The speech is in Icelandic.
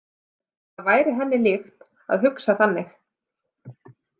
Það væri henni líkt að hugsa þannig.